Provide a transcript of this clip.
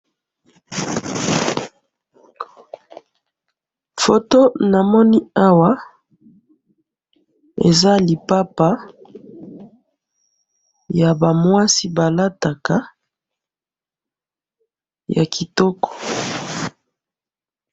photo namoni awa eza lipapa yabamwasi balataka yakitoko